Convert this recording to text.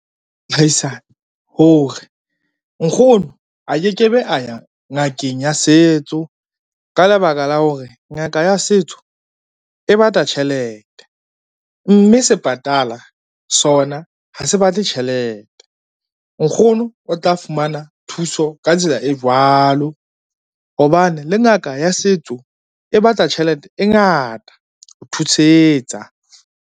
Mohaisane hore nkgono a keke be a ya ngakeng ya setso ka lebaka la hore ngaka ya setso e bata tjhelete. Mme sepatala sona ha se batle tjhelete. Nkgono o tla fumana thuso ka tsela e jwalo hobane le ngaka ya setso e batla tjhelete e ngata ho thusetsa.